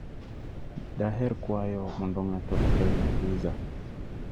Daher kwayo mondo ng'ato okelna pizza.